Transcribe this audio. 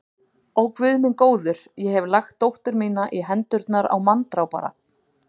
Ó, Guð minn góður, ég hef lagt dóttur mína í hendurnar á manndrápara.